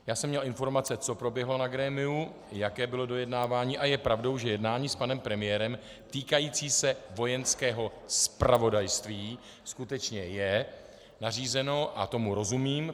Já jsem měl informace, co proběhlo na grémiu, jaké bylo dojednávání, a je pravdou, že jednání s panem premiérem týkající se Vojenského zpravodajství skutečně je nařízeno a tomu rozumím.